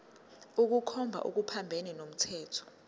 ukukhomba okuphambene nomthetho